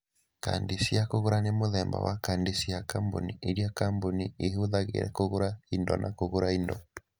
Kadi cia kũgũra nĩ mũthemba wa kadi cia kambuni iria kambuni ihũthagĩra kũgũra indo na kũgũra indo.